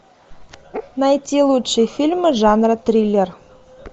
найти лучшие фильмы жанра триллер